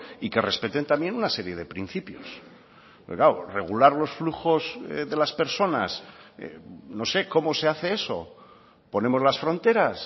y que respeten también una serie de principios regular los flujos de las personas no sé cómo se hace eso ponemos las fronteras